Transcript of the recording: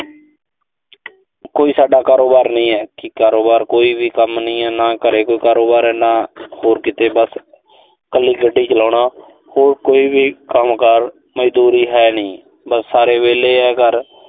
ਕੋਈ ਸਾਡਾ ਕਾਰੋਬਾਰ ਨਹੀਂ ਹੈ। ਕਾਰੋਬਾਰ ਕੋਈ ਵੀ ਕੰਮ ਨਹੀਂ ਐ। ਨਾ ਘਰੇ ਕੋਈ ਕਾਰੋਬਾਰ ਆ, ਨਾ ਹੋ ਕਿਤੇ। ਬੱਸ ਕੱਲੀ ਗੱਡੀ ਚਲਾਉਣਾ। ਹੋਰ ਕੋਈ ਵੀ ਕੰਮਕਾਰ, ਮਜ਼ਦੂਰੀ ਹੈਨੀ। ਬਸ ਸਾਰੇ ਵਿਹਲੇ ਆ ਘਰ।